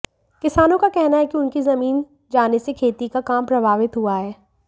किसानों का कहना है कि उनकी जमीन जाने से खेती का काम प्रभावित हुआ है